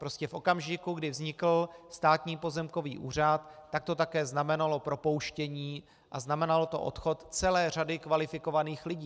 Prostě v okamžiku, kdy vznikl Státní pozemkový úřad, tak to také znamenalo propouštění a znamenalo to odchod celé řady kvalifikovaných lidí.